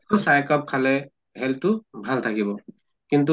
চাহ এক কাপ খালে health তো ভালে থাকিব। কিন